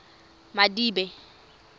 madibe